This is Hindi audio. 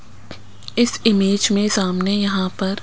इस इमेज में सामने यहां पर--